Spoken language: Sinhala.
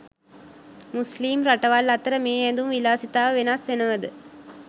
මුස්‌ලිම් රටවල් අතර මේ ඇඳුම් විලාසිතාව වෙනස්‌ වෙනවද?